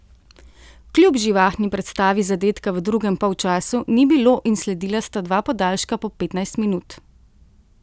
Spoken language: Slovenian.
Kljub živahni predstavi zadetka v drugem polčasu ni bilo in sledila sta dva podaljška po petnajst minut.